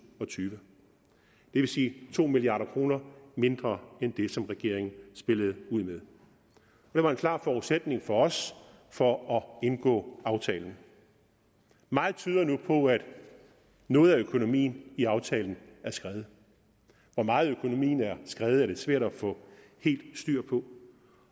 og tyve det vil sige to milliard kroner mindre end det som regeringen spillede ud med det var en klar forudsætning for os for at indgå aftalen meget tyder nu på at noget af økonomien i aftalen er skredet hvor meget økonomien er skredet er lidt svært at få helt styr på